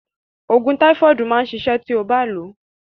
Òògùn táífọ̀dù máa ṣiṣẹ́ ti ó bá lòó.